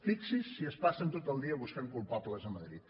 fixi’s si es passen tot el dia buscant culpables a madrid